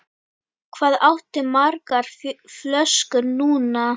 Hvað áttu margar flöskur núna?